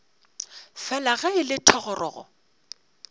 fela ge e le thogorogo